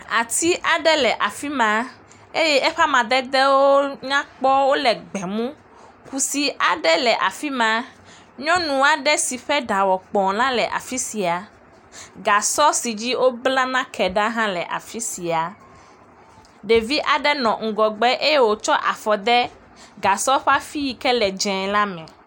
Ati aɖe le afi ma eye eƒe amededewo nyakpɔ wole gbemu. Kusi aɖe le afi ma. Nyɔnu aɖe si ƒe ɖa wɔ kpɔ la le afi sia. Gasɔ si dzi wobla nake ɖa hã le afi sia. Ɖevi aɖe nɔ ŋgɔgbe eye wotsɔ afɔ de gasɔ ƒe afi yi ke le dze la me.